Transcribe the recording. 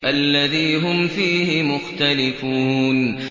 الَّذِي هُمْ فِيهِ مُخْتَلِفُونَ